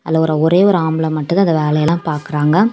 ஒரே ஒரு ஆம்பள மட்டும்தான் அந்த வேலையெல்லாம் பார்க்கிறாங்க.